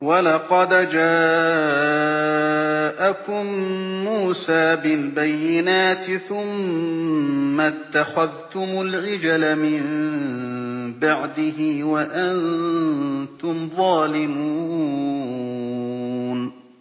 ۞ وَلَقَدْ جَاءَكُم مُّوسَىٰ بِالْبَيِّنَاتِ ثُمَّ اتَّخَذْتُمُ الْعِجْلَ مِن بَعْدِهِ وَأَنتُمْ ظَالِمُونَ